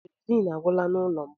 Kerosiin agwụla n'ụlọ m.